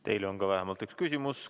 Teile on ka vähemalt üks küsimus.